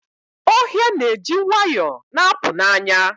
Ohia na-eji nwayọ na-apụ n'anya.